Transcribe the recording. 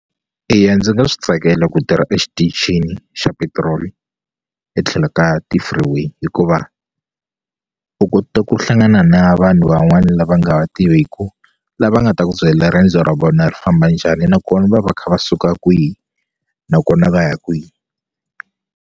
Eya ndzi nga swi tsakela ku tirha exitichini xa petiroli etlhelo ka ti-freeway hikuva u kota ku hlangana na vanhu van'wani lava nga va tiveku lava nga ta ku byela riendzo ra vona ri famba njhani nakona va va kha va suka kwihi nakona va ya kwihi.